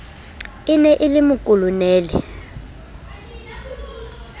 e ne e le mokolonele